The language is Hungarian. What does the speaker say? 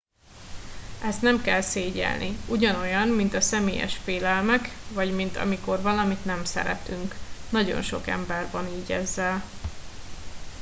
ezt nem kell szégyellni ugyanolyan mint a személyes félelmek vagy mint amikor valamit nem szeretünk nagyon sok ember van így ezzel